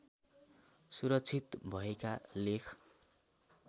सुरक्षित भएका लेख